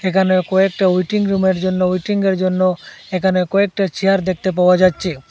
এখানে কয়েকটা ওয়েটিংরুমের জন্য ওয়েটিংয়ের জন্য এখানে কয়েকটা চেয়ার দেখতে পাওয়া যাচ্ছে।